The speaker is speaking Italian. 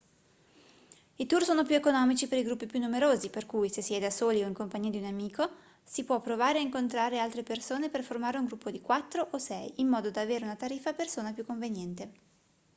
i tour sono più economici per i gruppi più numerosi per cui se si è da soli o in compagnia di un solo amico si può provare a incontrare altre persone per formare un gruppo di quattro o sei in modo da avere una tariffa a persona più conveniente